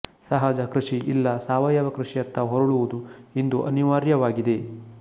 ಸಹಜ ಕೃಷಿ ಇಲ್ಲಾ ಸಾವಯವ ಕೃಷಿಯತ್ತ ಹೊರಳುವುದು ಇಂದು ಅನಿವಾರ್ಯವಾಗಿದೆ